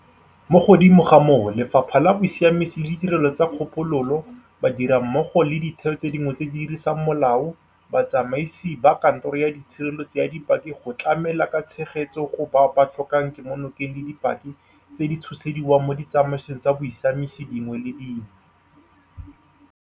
Mo godimo ga moo, Lefapha la Bosiamisi le Ditirelo tsa Kgopololo, ba dirammogo le ditheo tse dingwe tse di dirisang molao, batsamaisi ba Kantoro ya Tshireletso ya Dipaki go tlamela ka tshegetso go bao ba tlhokang kemonokeng le dipaki tse di tshosediwang mo ditsamaisong tsa bosiamisi dingwe le dingwe.